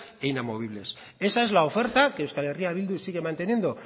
e inmovibles esa es la oferta que euskal herria bildu sigue manteniendo